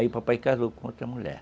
Aí o papai casou com outra mulher.